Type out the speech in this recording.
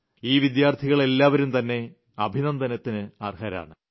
ഈ വിദ്യാർത്ഥികളെല്ലാവരും തന്നെ അഭിനന്ദനത്തിന് അർഹരാണ്